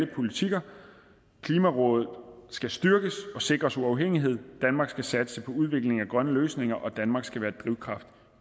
politikker klimarådet skal styrkes og sikres uafhængighed danmark skal satse på udvikling af grønne løsninger og danmark skal være drivkraft